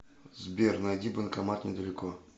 сбер найди банкомат недалеко